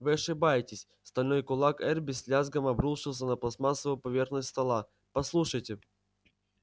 вы ошибаетесь стальной кулак эрби с лязгом обрушился на пластмассовую поверхность стола послушайте